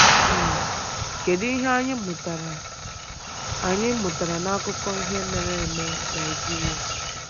um Kedu ihe anyị mụtara anyị mụtara n’akụkọ ihe mere eme Nigeria?